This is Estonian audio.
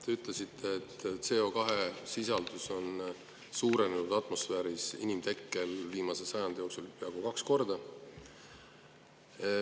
Te ütlesite, et inimtekkelise CO2 sisaldus on atmosfääris viimase sajandi jooksul suurenenud peaaegu kaks korda.